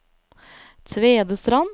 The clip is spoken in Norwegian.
Tvedestrand